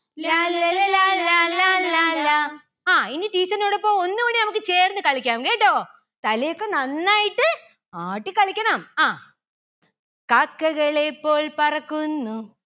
ലാല്ലല ലാലാ ലാലാ ലാ. ആ ഇനി teacher ന്റോടൊപ്പം ഒന്നൂടി നമുക്ക് ചേർന്ന് കളിക്കാം കേട്ടോ. തലയൊക്കെ നന്നായിട്ട് ആട്ടി കളിക്കണം അഹ് കാക്കകളെ പോൽ പറക്കുന്നു